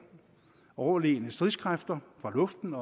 overlegne stridskræfter fra luften